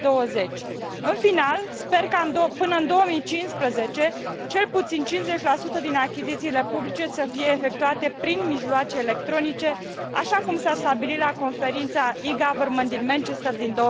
2020. În final, sper ca până în 2015 cel puțin 50 din achizițiile publice să fie efectuate prin mijloace electronice, așa cum s a stabilit la conferința e Governement din Manchester din